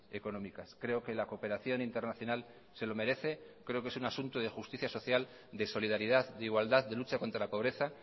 económicas creo que la cooperación internacional se lo merece creo que es un asunto de justicia social de solidaridad de igualdad de lucha contra la pobreza